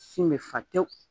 Sin bɛ fa tewu